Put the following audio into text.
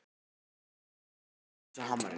Hann var einnig elskaður af öllum undirmönnum sínum.